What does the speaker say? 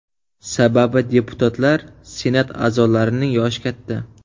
Sababi deputatlar, Senat a’zolarining yoshi katta.